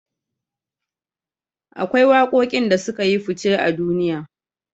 Akwai waƙoƙin da sukayi fuce a duniya